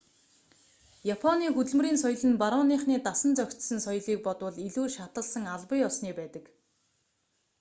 японы хөдөлмөрийн соёл нь барууныхны дасан зохицсон соёлыг бодвол илүү шаталсан албан ёсны байдаг